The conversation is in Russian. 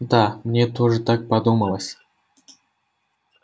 да мне тоже так подумалось